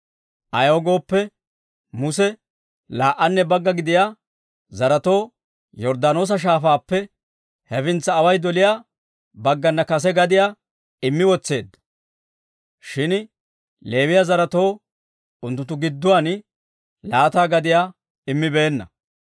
Ayaw gooppe, Muse laa"anne bagga gidiyaa zaretoo Yorddaanoosa Shaafaappe hefintsa away doliyaa baggana kase gadiyaa immi wotseedda; shin Leewiyaa zaretoo unttunttu gidduwaan laata gadiyaa immibeenna.